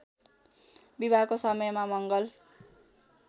विवाहको समयमा मङ्गल